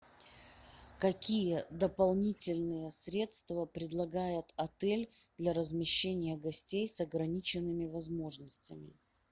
какие дополнительные средства предлагает отель для размещения гостей с ограниченными возможностями